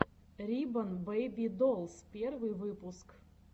рибон бэйби долс первый выпуск